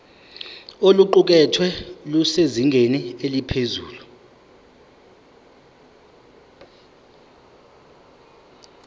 oluqukethwe lusezingeni eliphezulu